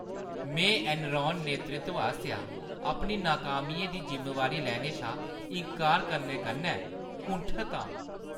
में एनरॉन नेतृत्व आसेआ अपनी नाकामियें दी जिम्मेवारी लैने शा इन्कार करने कन्नै कुंठत आं।